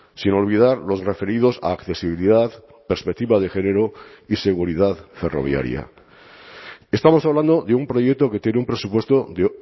sin olvidar los referidos a accesibilidad perspectiva de género y seguridad ferroviaria estamos hablando de un proyecto que tiene un presupuesto de